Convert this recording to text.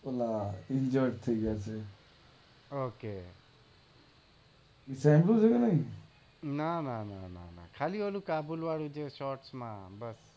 injured થઇ ગયા તા ઓકે ના ના ના ખાઈ ઓલું કાબુલ વાળું જ છે શોર્ટ માં